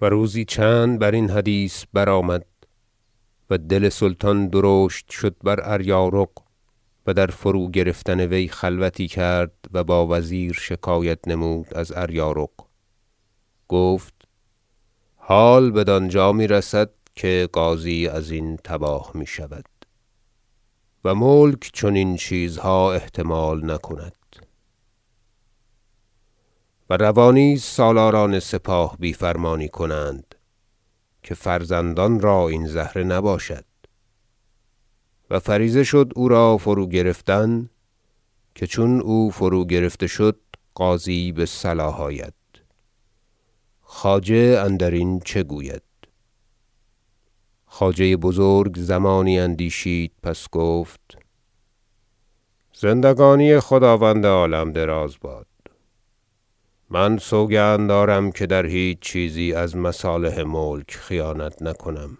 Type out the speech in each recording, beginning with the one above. و روزی چند برین حدیث برآمد و دل سلطان درشت شد بر اریارق و در فرو- گرفتن وی خلوتی کرد و با وزیر شکایت نمود از اریارق گفت حال بدانجا میرسد که غازی ازین تباه میشود و ملک چنین چیزها احتمال نکند و روا نیست سالاران سپاه بی فرمانی کنند که فرزندان را این زهره نباشد و فریضه شد او را فروگرفتن که چون او فروگرفته شد غازی بصلاح آید خواجه اندرین چه گوید خواجه بزرگ زمانی اندیشید پس گفت زندگانی خداوند عالم دراز باد من سوگند دارم که در هیچ چیزی از مصالح ملک خیانت نکنم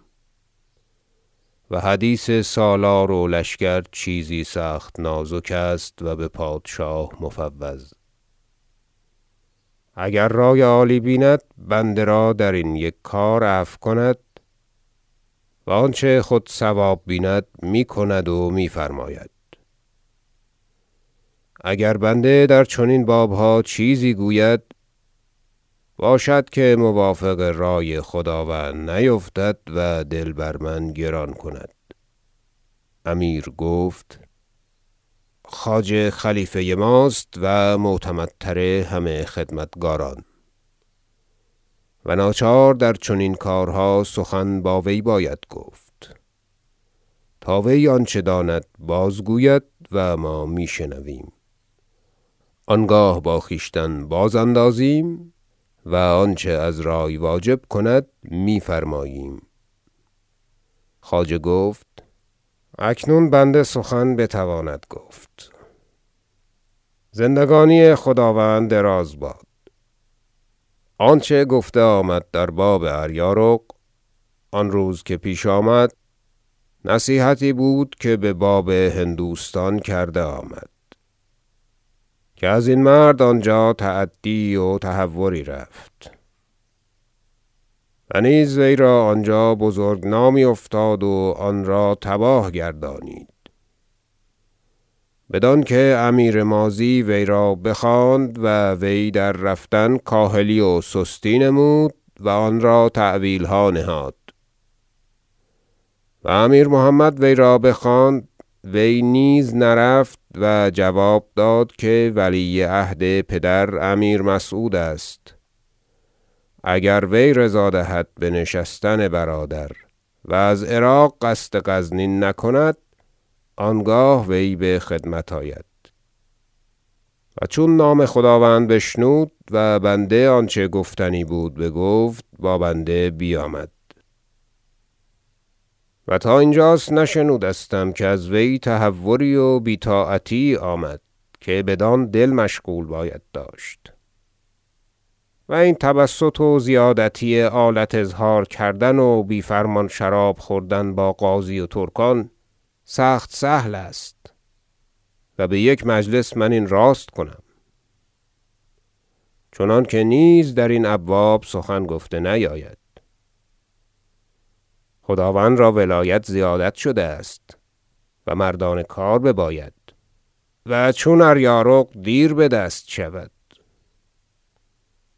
و حدیث سالار و لشکر چیزی سخت نازک است و بپادشاه مفوض اگر رأی عالی بیند بنده را درین یک کار عفو کند و آنچه خود صواب بیند می کند و می فرماید اگر بنده در چنین بابها چیزی گوید باشد که موافق رأی خداوند نیفتد و دل بر من گران کند امیر گفت خواجه خلیفه ماست و معتمدتر همه خدمتکاران و ناچار در چنین کارها سخن با وی باید گفت تا وی آنچه داند بازگوید و ما میشنویم آنگاه با خویشتن بازاندازیم و آنچه از رأی واجب کند میفرماییم خواجه گفت اکنون بنده سخن بتواند گفت زندگانی خداوند دراز باد آنچه گفته آمد در باب اریارق آن روز که پیش آمد نصیحتی بود که بباب هندوستان کرده آمد که ازین مرد آنجا تعدی یی و تهوری رفت و نیز وی را آنجا بزرگ نامی افتاد و آن را تباه گردانید بدانکه امیر ماضی وی را بخواند و وی در رفتن کاهلی و سستی نمود و آن را تأویلها نهاد و امیر محمد وی را بخواند وی نیز نرفت و جواب داد که ولی عهد پدر امیر مسعود است اگر وی رضا دهد به نشستن برادر و از عراق قصد غزنین نکند آنگاه وی بخدمت آید و چون نام خداوند بشنود و بنده آنچه گفتنی بود بگفت با بنده بیامد و تا اینجاست نشنودم که از وی تهوری و بی طاعتی یی آمد که بدان دل مشغول باید داشت و این تبسط و زیادتی آلت اظهار کردن و بی فرمان شراب خوردن با غازی و ترکان سخت سهل است و بیک مجلس من این راست کنم چنانکه نیز درین ابواب سخن نباید گفت خداوند را ولایت زیادت شده است و مردان کار بباید و چون اریارق دیر بدست شود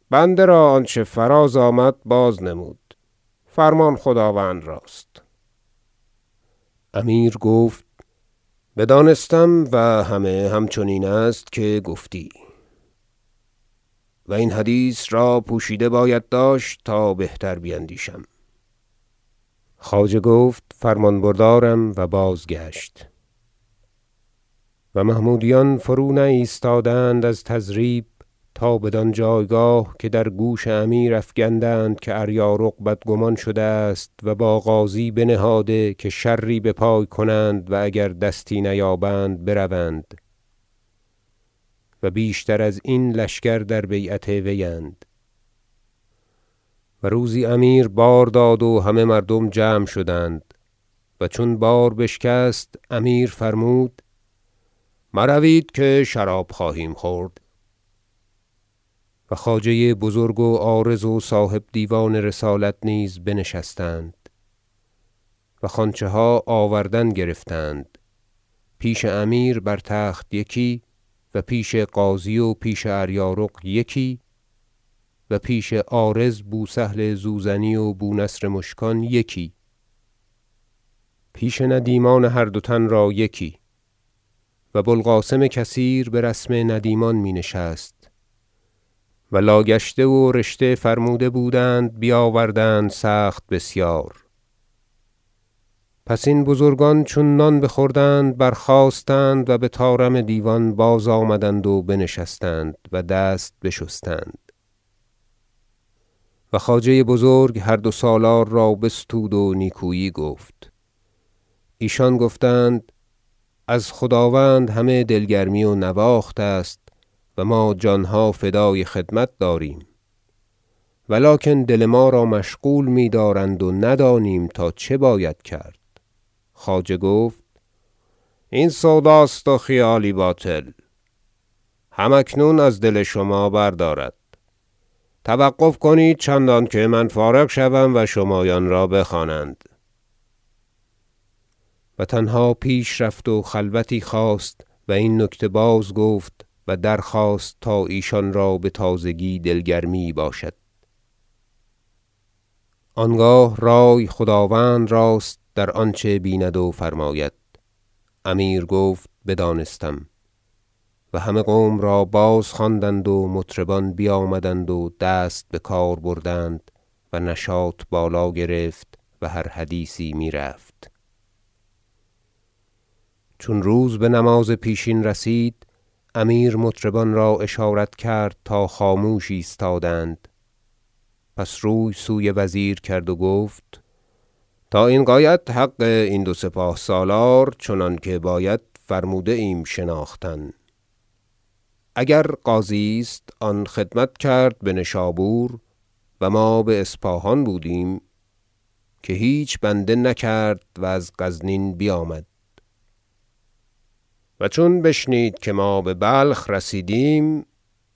بنده را آنچه فراز آمد بازنمود فرمان خداوند راست امیر گفت بدانستم و همه همچنین است که گفتی و این حدیث را پوشیده باید داشت تا بهتر بیندیشم خواجه گفت فرمان بردارم و بازگشت و محمودیان فرونایستادند از تضریب تا بدان جایگاه که در گوش امیر افکندند که اریارق بدگمان شده است و با غازی بنهاده که شری بپای کنند و اگر دستی نیابند بروند و بیشتر ازین لشکر در بیعت وی اند روزی امیر بار داد و همه مردم جمع شدند و چون بار بشکست امیر فرمود مروید که شراب خواهیم خورد و خواجه بزرگ و عارض و صاحب دیوان رسالت نیز بنشستند و خوانچه ها آوردن گرفتند پیش امیر بر تخت یکی و پیش غازی و پیش اریارق یکی و پیش عارض بو سهل زوزنی و بو نصر مشکان یکی پیش ندیمان هر دو تن را یکی- و بو القاسم کثیر برسم ندیمان می نشست- و لا گشته و رشته فرموده بودند بیاوردند سخت بسیار پس این بزرگان چون نان بخوردند برخاستند و بطارم دیوان بازآمدند و بنشستند و دست بشستند و خواجه بزرگ هر دو سالار را بستود و نیکویی گفت ایشان گفتند از خداوند همه دل گرمی و نواخت است و ما جانها فدای خدمت داریم و لکن دل ما را مشغول میدارند و ندانیم تا چه باید کرد خواجه گفت این سود است و خیالی باطل هم اکنون از دل شما بردارد توقف کنید چندانکه من فارغ شوم و شمایان را بخوانند و تنها پیش رفت و خلوتی خواست و این نکته بازگفت و درخواست تا ایشان را بتازگی دل گرمی یی باشد آنگاه رأی خداوند راست در آنچه بیند و فرماید امیر گفت بدانستم و همه قوم را بازخواندند و مطربان بیامدند و دست بکار بردند و نشاط بالا گرفت و هر حدیثی میرفت چون روز بنماز پیشین رسید امیر مطربان را اشارت کرد تا خاموش ایستادند پس روی سوی وزیر کرد و گفت تا این غایت حق این دو سپاه سالار چنانکه باید فرموده ایم شناختن اگر غازی است آن خدمت کرد بنشابور و ما به اسپاهان بودیم که هیچ بنده نکرد و از غزنین بیامد و چون بشنید که ما ببلخ رسیدیم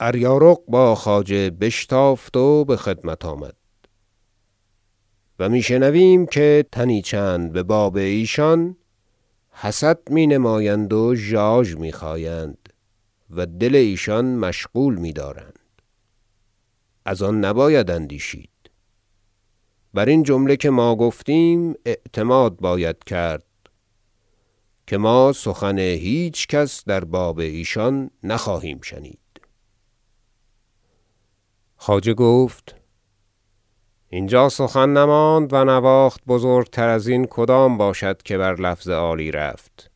اریارق با خواجه بشتافت و بخدمت آمد و می شنویم که تنی چند بباب ایشان حسد می نمایند و ژاژ میخایند و دل ایشان مشغول میدارند ازان نباید اندیشید برین جمله که ما گفتیم اعتماد باید کرد که ما سخن هیچکس در باب ایشان نخواهیم شنید خواجه گفت اینجا سخن نماند و نواخت بزرگ تر ازین کدام باشد که بر لفظ عالی رفت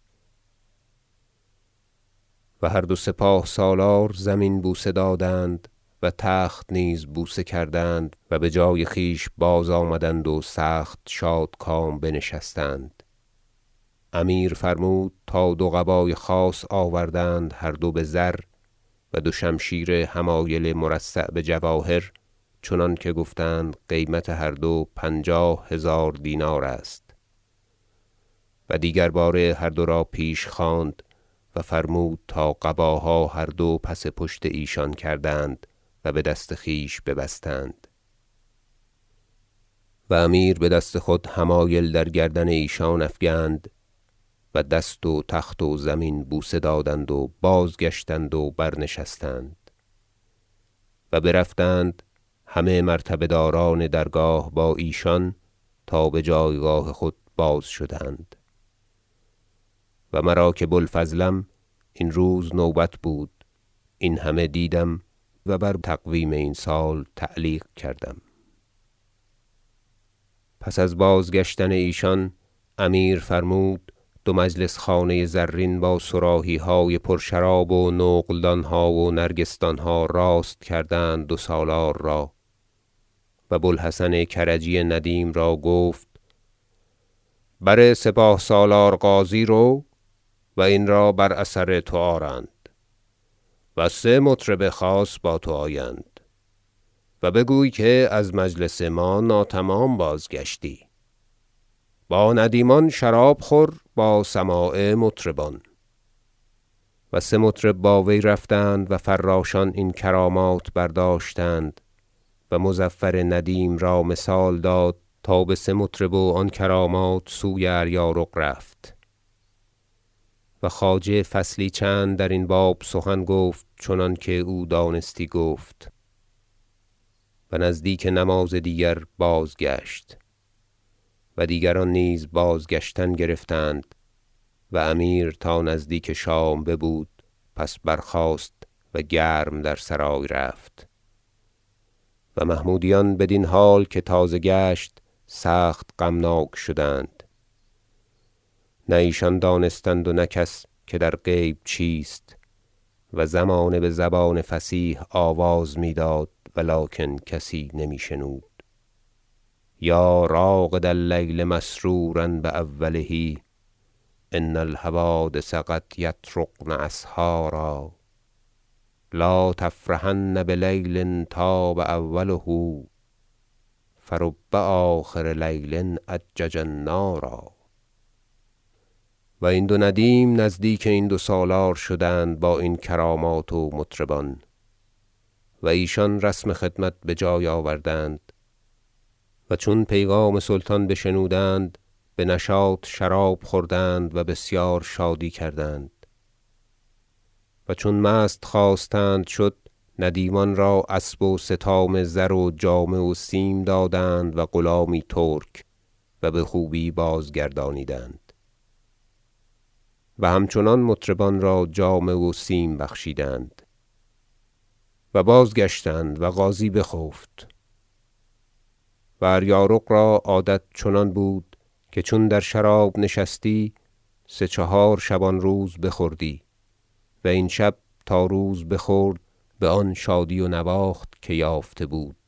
و هر دو سپاه سالار زمین بوسه دادند و تخت نیز بوسه کردند و بجای خویش بازآمدند و سخت شادکام بنشستند امیر فرمود تا دو قبای خاص آوردند هر دو بزر و دو شمشیر حمایل مرصع بجواهر چنانکه گفتند قیمت هر دو پنجاه هزار دینار است و دیگر باره هر دو را پیش خواند و فرمود تا قباها هر دو پس پشت ایشان کردند و بدست خویش ببستند و امیر بدست خود حمایل در گردن ایشان افکند و دست و تخت و زمین بوسه دادند و بازگشتند و برنشستند و برفتند همه مرتبه داران درگاه با ایشان تا بجایگاه خود باز شدند و مرا که بو الفضلم این روز نوبت بود این همه دیدم و بر تقویم این سال تعلیق کردم پس از بازگشتن ایشان امیر فرمود دو مجلس خانه زرین با صراحیهای پرشراب و نقلدانها و نرگسدانها راست کردند دو سالار را و بو الحسن کرجی ندیم را گفت بر سپاه سالار غازی رو و این را بر اثر تو آرند و سه مطرب خاص با تو آیند و بگوی که از مجلس ما ناتمام بازگشتی با ندیمان شراب خور با سماع مطربان و سه مطرب با وی رفتند و فراشان این کرامات برداشتند و مظفر ندیم را مثال داد تا با سه مطرب و آن کرامات سوی اریارق رفت و خواجه فصلی چند درین باب سخن گفت چنانکه او دانستی گفت و نزدیک نماز دیگر بازگشت و دیگران نیز بازگشتن گرفتند و امیر تا نزدیک شام ببود پس برخاست و گرم در سرای رفت و محمودیان بدین حال که تازه گشت سخت غمناک شدند نه ایشان دانستند و نه کس که در غیب چیست و زمانه بزبان فصیح آواز می داد و لکن کسی نمی شنود شعر یا راقد اللیل مسرورا بأوله ان الحوادث قد یطرقن اسحارا لا تفرحن بلیل طاب اوله فرب آخر لیل اجج النارا و این دو ندیم نزدیک این دو سالار شدند با این کرامات و مطربان و ایشان رسم خدمت بجای آوردند و چون پیغام سلطان بشنودند بنشاط شراب خوردند و بسیار شادی کردند و چون مست خواستند شد ندیمان را اسب و ستام زر و جامه و سیم دادند و غلامی ترک و بخوبی بازگردانیدند و هم چنان مطربان را جامه و سیم بخشیدند و بازگشتند و غازی بخفت و اریارق را عادت چنان بود که چون در شراب نشستی سه چهار شبان روز بخوردی و این شب تا روز بخورد بآن شادی و نواخت که یافته بود